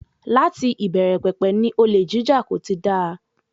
Láti ìbẹ̀rẹ̀pẹ̀pẹ̀ ni olè jíjà kò ti dáa.